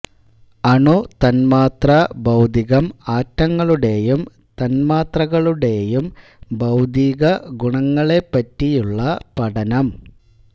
അണു തന്മാത്രാ ഭൌതികം ആറ്റങ്ങളുടെയും തന്മാത്രകളുടെയും ഭൌതികഗുണങ്ങളെ പറ്റിയുള്ള പഠനം